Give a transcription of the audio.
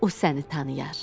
O səni tanıyar.